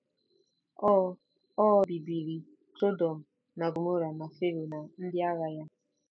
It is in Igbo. O O bibiri Sọdọm na Gọmọra na Fero na ndị agha ya.